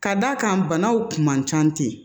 Ka d'a kan banaw kun man ca ten